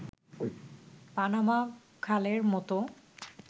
Panama খালের মতো